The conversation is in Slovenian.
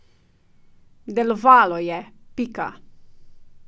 Delovalo je, pika.